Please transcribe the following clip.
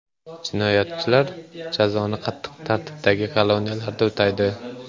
Jinoyatchilar jazoni qattiq tartibdagi koloniyalarda o‘taydi.